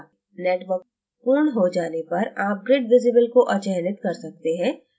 network पूर्ण हो जाने पर आप grid visible को अचयनित कर सकते हैं